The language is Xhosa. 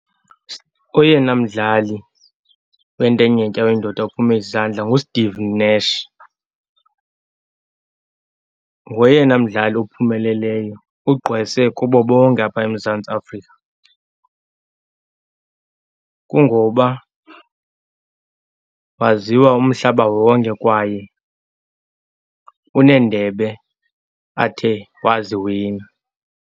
Oyena mdlali wentenetya oyindoda ophume izandla nguSteve Nash. Ngoyena mdlali ophumeleleyo, ugqwese kubo bonke apha eMzantsi Afrika. Kungoba waziwa umhlaba wonke kwaye uneendebe athe waziwina.